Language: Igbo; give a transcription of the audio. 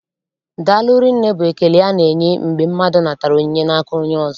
Daalụ rinne bụ ekele a na-enye mgbe mmadụ natara onyinye n'aka onye ọzọ.